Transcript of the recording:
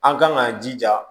An kan k'an jija